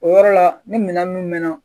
O yɔrɔ la ni minɛn nunnu mɛn na